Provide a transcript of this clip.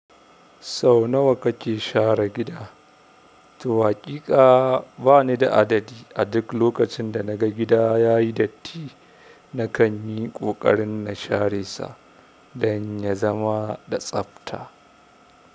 Sau nawa kake share gida? To haƙiƙa bani da adadi. A duk lokacin da na ga gida ya yi datti, na kan yi ƙoƙarin na share sa don ya zama da tsabta.